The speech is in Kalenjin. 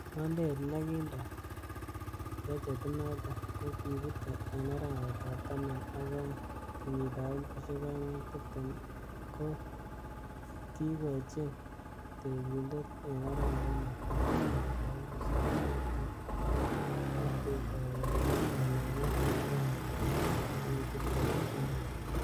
Ngwondet nekindo prochetinon ko kibute en arawetab taman ak oeng, kenyitab elfusiek oeng ak tibtem, kikochin tekindet en arawet netai kenyitab elfusiek oeng ak tibtem, ak ketoi kanaamet en arawetab oeng tarigit tibtem ak somok.